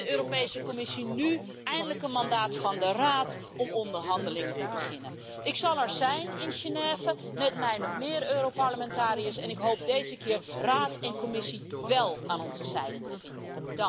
Heeft de Europese Commissie nu eindelijk een mandaat van de Raad om onderhandelingen te beginnen? Ik zal er zijn in Genève, met mij nog meer Europarlementariërs, en ik hoop deze keer de Raad en de Commissie wel aan onze zijde te vinden.